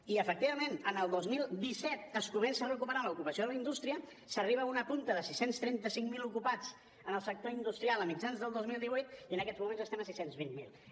i efectivament en el dos mil disset es comença a recuperar l’ocupació en la indústria s’arriba a una punta de sis cents i trenta cinc mil ocupats en el sector industrial a mitjans del dos mil divuit i en aquests moments estem a sis cents i vint miler